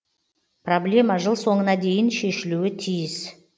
проблема жыл соңына дейін шешілуі тиіс